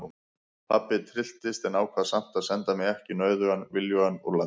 Pabbi trylltist en ákvað samt að senda mig ekki nauðugan viljugan úr landi.